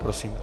Prosím.